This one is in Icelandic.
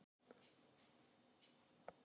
Turninn er fimmtíu metra hár.